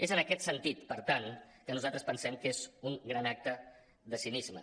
és en aquest sentit per tant que nosaltres pensem que és un gran acte de cinisme